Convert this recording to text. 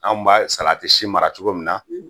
Anw b'a salati si mara cogo min na,